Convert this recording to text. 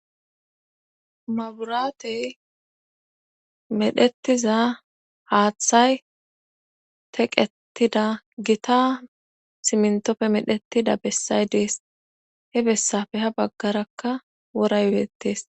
Maburaatey medhetiza haaththay teqettida gita simntoppe medhettida bessay dees he bessafe ha baggarakka wora yodettees